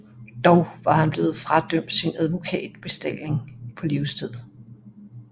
Dog var han blevet fradømt sin advokatbestalling på livstid